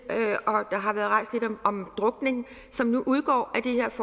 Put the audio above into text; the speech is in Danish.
om drukning som nu udgår